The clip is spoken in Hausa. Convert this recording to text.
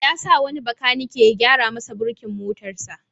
Ya sa wani bakanike ya gyara masa burkin motarsa.